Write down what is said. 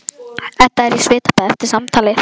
Edda er í svitabaði eftir samtalið.